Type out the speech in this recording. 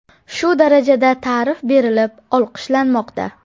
Shu darajada ta’rif berilib, olqishlanmoqda.